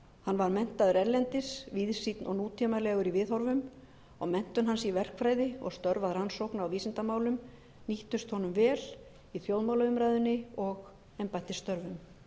hann var menntaður erlendis víðsýnn og nútímalegur í viðhorfum og menntun hans í verkfræði og störf að rannsókna og vísindamálum nýttust honum vel í þjóðmálaumræðunni og embættisstörfum